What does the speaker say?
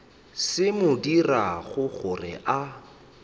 se mo dirago gore a